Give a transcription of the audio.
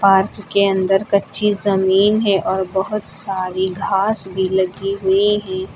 Park के अंदर कच्ची जमीन है और बहुत सारी घास भी लगी हुई है।